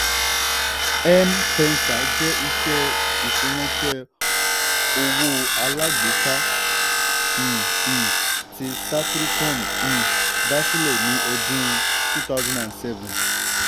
m-pesa jẹ́ iṣẹ́ ìfiránṣẹ́ owó alágbèéká um um tí safaricom um dá sílẹ̀ ní ọdún two thousand seven.